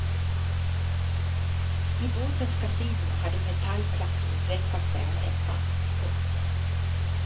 I båtens kasino hade metallplattor veckat sig av hettan. punkt